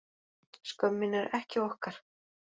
Skömmin er ekki okkar